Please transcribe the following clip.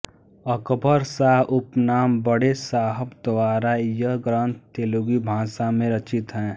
अकबरशाह उपनाम बड़े साहब द्वारा यह ग्रन्थ तेलुगु भाषा में रचित है